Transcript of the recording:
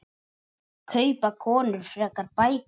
Kaupa konur frekar bækur?